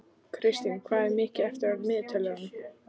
Kristína, hvað er mikið eftir af niðurteljaranum?